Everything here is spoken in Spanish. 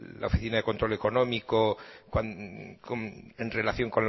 la oficina de control económico en relación